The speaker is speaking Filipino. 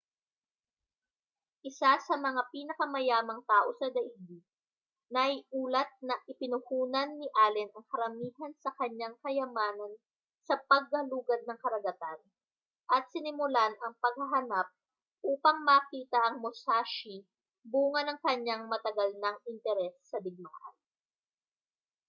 isa sa mga pinakamayamang tao sa daigdig naiulat na ipinuhunan ni allen ang karamihan sa kaniyang kayamanan sa paggalugad ng karagatan at sinimulan ang paghahanap upang makita ang musashi bunga ng kaniyang matagal nang interes sa digmaan